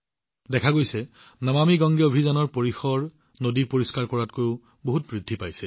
অৱশ্যে নমামি গংগে অভিযানৰ বিস্তাৰ ইয়াৰ পৰিসৰ নদী পৰিষ্কাৰ কৰা কাৰ্যতকৈ বহু বেছি বৃদ্ধি পাইছে